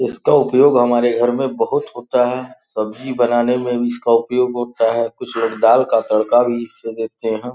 इसका उपयोग हमारे घर में बहोत होता है| सब्जी बनाने में भी इसका उपयोग होता है कुछ लोग दाल का तड़का भी इस से देते हैं|